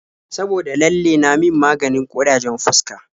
Saboda lalle na min maganin ƙurajen fuska.